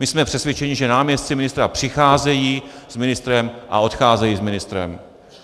My jsme přesvědčeni, že náměstci ministra přicházejí s ministrem a odcházejí s ministrem.